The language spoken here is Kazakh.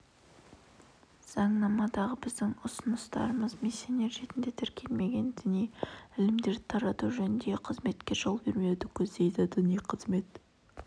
заңнамадағы біздің ұсыныстарымыз миссионер ретінде тіркелмеген діни ілімдерді тарату жөніндегі қызметке жол бермеуді көздейді діни қызмет